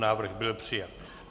Návrh byl přijat.